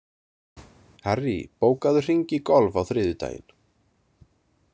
Harry, bókaðu hring í golf á þriðjudaginn.